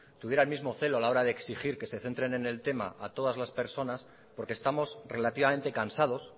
tuviera el mismo celo a la hora de exigir que se centren en el tema para todas las personas porque estamos relativamente cansados